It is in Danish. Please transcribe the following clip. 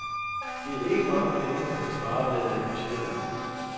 Det er ikke mange penge, man kan spare ved at lægge budgettet om.